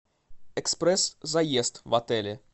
экспресс заезд в отеле